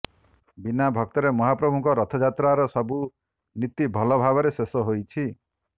ବିନା ଭକ୍ତରେ ମହାପ୍ରଭୁଙ୍କ ରଥଯାତ୍ରାର ସବୁ ନୀତି ଭଲ ଭାବରେ ଶେଷ ହୋଇଛି